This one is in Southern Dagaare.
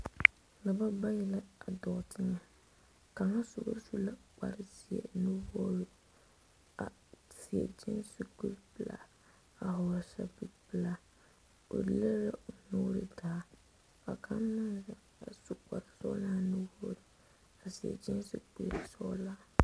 Dɔba bayi dɔɔ teŋa kaŋ soba su la kpar zeɛ nuwoori seɛ kyeese kuri pelaa a vɔgele zapili pelaa o lere la o nuure taa ka kaŋ meŋ zeŋ a su kpar sɔgelaa nuwoo a seɛvtoraza sɔglaa